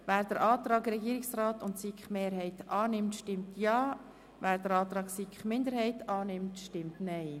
Wer den Antrag Regierungsrat/SiK-Mehrheit annimmt, stimmt Ja, wer den Antrag SiK-Minderheit annimmt, stimmt Nein.